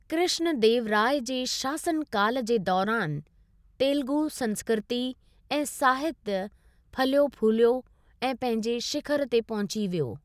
कृष्णदेवराय जे शासनकाल जे दौरानि, तेलुगु संस्कृती ऐं साहित फलियो फूलियो ऐं पंहिंजे श़िखर ते पहुंची वियो।